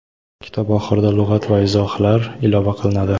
kitob oxirida lug‘at va izohlar ilova qilinadi.